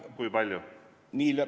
Kui palju?